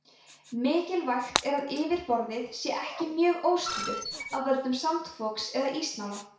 mikilvægt er að yfirborðið sé ekki mjög óstöðugt af völdum sandfoks eða ísnála